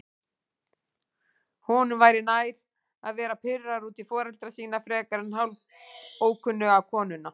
Honum væri nær að vera pirraður út í foreldra sína frekar en hálfókunnuga konuna.